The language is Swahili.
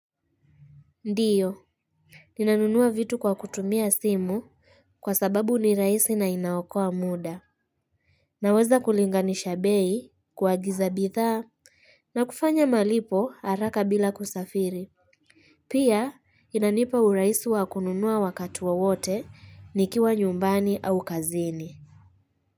Ndiyo, ninanunua vitu kwa kutumia simu kwa sababu ni rahisi na inaokoa muda. Naweza kulinganisha bei, kuagiza bidhaa, na kufanya malipo haraka bila kusafiri. Pia, inanipa urahisi wa kununua wakati wowote, nikiwa nyumbani au kazini.